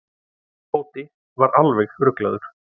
Tóti var alveg ruglaður.